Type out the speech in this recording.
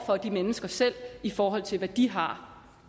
for de mennesker selv i forhold til hvad de har